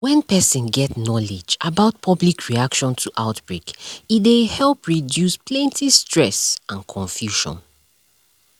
when person get knowledge about public reaction to outbreak e dey help reduce plenty stress and confusion